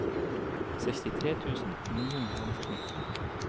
sekstitre tusen ni hundre og nitten